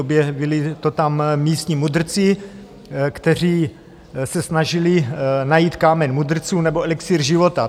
Objevili to tam místní mudrci, kteří se snažili najít kámen mudrců nebo elixír života.